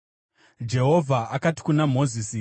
Jehovha akati kuna Mozisi,